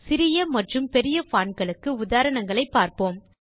சிறிய மற்றும் பெரிய fontகளுக்கு உதாரணங்களைப் பார்ப்போம்